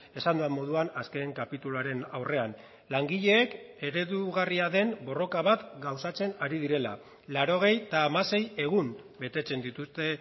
esan dudan moduan azken kapituluaren aurrean langileek eredugarria den borroka bat gauzatzen ari direla laurogeita hamasei egun betetzen dituzte